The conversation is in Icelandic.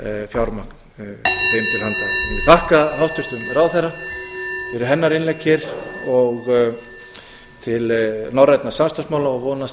fjármagn þeim til handa ég vil þakka háttvirtum ráðherra fyrir hennar innlegg hér og til norrænna samstarfsmála og vonast